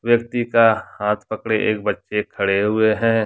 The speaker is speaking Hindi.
व्यक्ति का हाथ पकड़े एक बच्चे खड़े हुए हैं।